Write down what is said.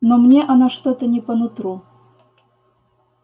но мне она что-то не по нутру